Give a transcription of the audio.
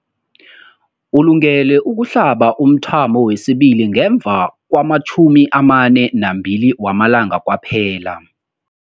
Ulungele ukuhlaba umthamo wesibili ngemva kwama-42 wamalanga kwaphela.